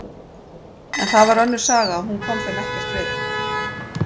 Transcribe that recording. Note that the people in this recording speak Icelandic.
En það var önnur saga og hún kom þeim ekkert við.